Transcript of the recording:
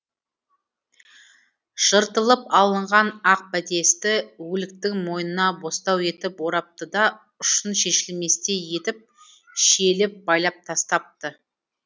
жыртылып алынған ақ бәтесті өліктің мойнына бостау етіп орапты да ұшын шешілместей етіп шиелеп байлап тастапты